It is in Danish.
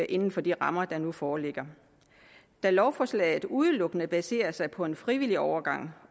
inden for de rammer der nu foreligger da lovforslaget udelukkende baserer sig på en frivillig overgang